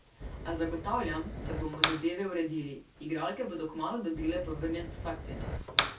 A zagotavljam, da bomo zadeve uredili, igralke bodo kmalu dobile povrnjen vsak cent.